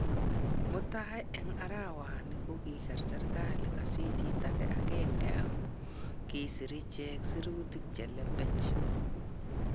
Mutai en arawani ko kiger serikali gazeti age agenge amun kisir ichek sirutik chelembech.